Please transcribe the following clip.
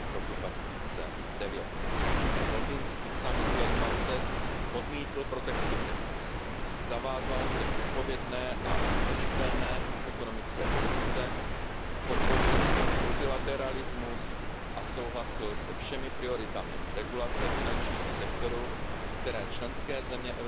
2009. Londýnský summit G20 odmítl protekcionismus, zavázal se k odpovědné a udržitelné ekonomické politice, podpořil multilateralismus a souhlasil se všemi prioritami regulace finančního sektoru, které členské